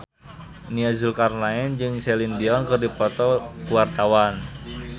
Nia Zulkarnaen jeung Celine Dion keur dipoto ku wartawan